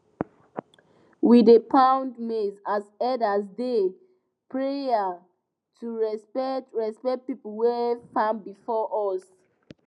we dey pound maize as elders dey prayer to respect respect people wey farm before us